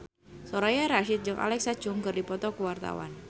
Soraya Rasyid jeung Alexa Chung keur dipoto ku wartawan